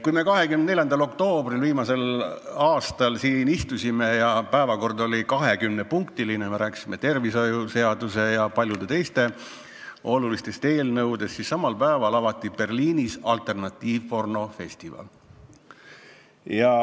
Kui me eelmise aasta 24. oktoobril siin istusime ja päevakord oli 20-punktiline, me rääkisime tervishoiusteenustest ja paljudest teistest olulistest eelnõudest, siis samal päeval avati Berliinis alternatiivpornofestival.